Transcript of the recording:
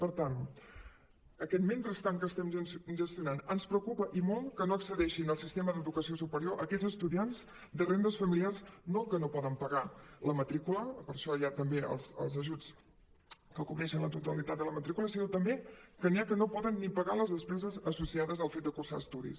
per tant en aquest mentrestant que estem gestionant ens preocupa i molt que no accedeixin al sistema d’educació superior aquells estudiants de rendes familiars no que no poden pagar la matrícula que per això hi ha també els ajuts que cobreixen la tota·litat de la matrícula sinó també que n’hi ha que no poden ni pagar les despeses asso·ciades al fet de cursar estudis